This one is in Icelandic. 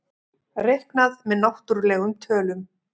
Reiknað með náttúrlegum tölum.